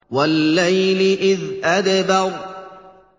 وَاللَّيْلِ إِذْ أَدْبَرَ